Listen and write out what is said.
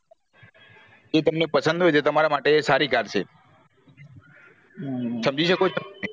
અ તમને પસંદ હોય તો તમારા માટે સારી car છે સમજી શકો તમે